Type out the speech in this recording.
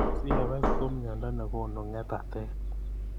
CFS ko mnyendo nekonu ngetatet.